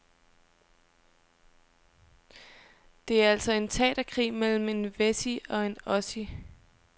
Det er altså en teaterkrig mellem en wessie og en ossie.